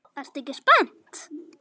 Ertu ekki spennt?